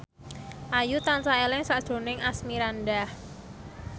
Ayu tansah eling sakjroning Asmirandah